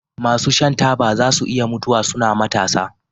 masu shan taba zasu iya mutuwa suna matasa